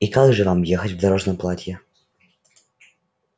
и как же вам ехать в дорожном платье